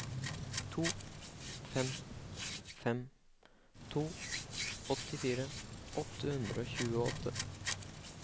to fem fem to åttifire åtte hundre og tjueåtte